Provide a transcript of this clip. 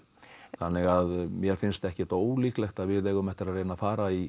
þannig að mér finnst ekkert ólíklegt að við eigum eftir að fara í